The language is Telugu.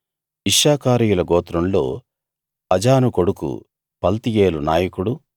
ఇశ్శాఖారీయుల గోత్రంలో అజాను కొడుకు పల్తీయేలు నాయకుడు